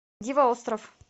диво остров